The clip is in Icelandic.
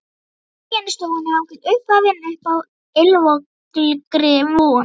Múmían í stofunni hangir uppvafin uppi á ylvolgri von.